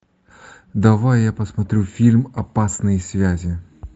давай я посмотрю фильм опасные связи